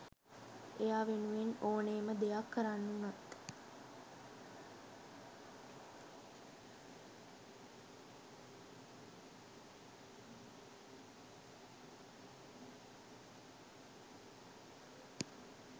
එයා වෙනුවෙන් ඕනෙම දෙයක් කරන්න වුනත්